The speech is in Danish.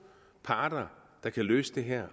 parter der kan løse det her